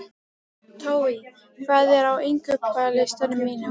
Tói, hvað er á innkaupalistanum mínum?